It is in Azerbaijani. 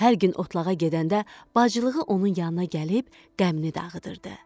Hər gün otlağa gedəndə bacılığı onun yanına gəlib qəmini dağıdırdı.